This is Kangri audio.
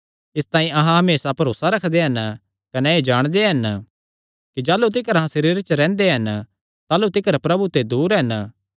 इसतांई अहां हमेसा भरोसा रखदे हन कने एह़ जाणदे हन कि जाह़लू तिकर अहां सरीरे च रैंह्दे हन ताह़लू तिकर प्रभु ते दूर हन